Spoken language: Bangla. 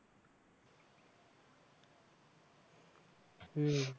হম